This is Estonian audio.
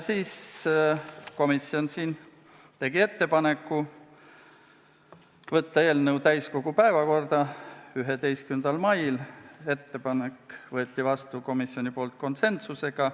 Komisjon tegi ettepaneku võtta eelnõu täiskogu päevakorda 11. maiks, ettepanek võeti komisjonis vastu konsensusega.